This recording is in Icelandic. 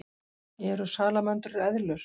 Eru salamöndrur eðlur?